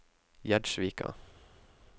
Gjerdsvika